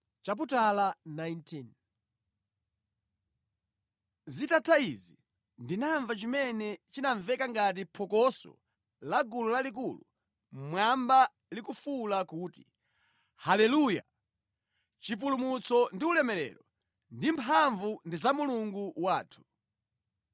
Zitatha izi, ndinamva chimene chinamveka ngati phokoso la gulu lalikulu mmwamba likufuwula kuti, “Haleluya! Chipulumutso ndi ulemerero ndi mphamvu ndi za Mulungu wathu,